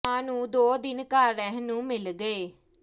ਮਾਂ ਨੂੰ ਦੋ ਦਿਨ ਘਰ ਰਹਿਣ ਨੂੰ ਮਿਲ ਗਏ